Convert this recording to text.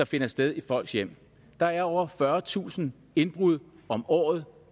finder sted i folks hjem der er over fyrretusind indbrud om året